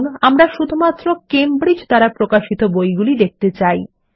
ধরুন আমরা শুধুমাত্র কেমব্রিজ দ্বারা প্রকাশিত বইগুলি দেখতে চাই